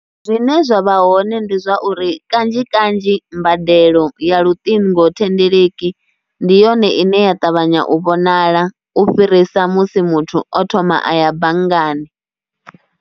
Zwine zwa vha hoṋe ndi zwa uri kanzhi kanzhi mbadelo ya luṱingo thendeleki ndi yone ine ya ṱavhanya u vhonala u fhirisa musi muthu o thoma a ya banngani